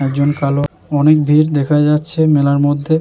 একজন কালো অনেক ভিড় দেখা যাচ্ছে মেলার মধ্যে।